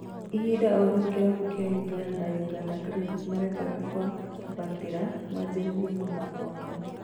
Ihinda oro rĩu kĩrabu kĩa Ũganda Uganda Cranes marendaga kwambatĩra manjĩrĩrie mũthako wao